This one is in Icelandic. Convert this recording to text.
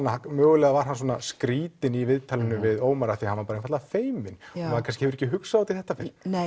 að mögulega var hann svona skrýtinn í viðtalinu við Ómar af því að hann var einfaldlega feiminn maður kannski hefur ekki hugsað út í þetta